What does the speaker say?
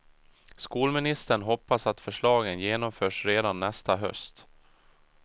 Skolministern hoppas att förslagen genomförs redan nästa höst.